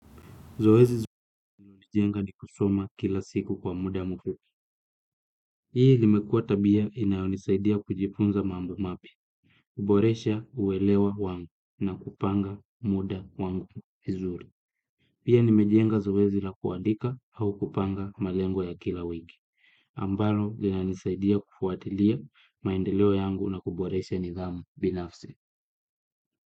Zoezi linalonijenga ni kusoma kila siku kwa muda mfupi. Hii limekuwa tabia inayonisaidia kujifunza mambo mapya. Kuboresha uwelewa wangu na kupanga muda wangu vizuri. Pia nimejenga zoezi la kuadika au kupanga malengo ya kila wiki. Ambalo linanisaidia kufuatilia maendeleo yangu na kuboresha nidhamu binafsi.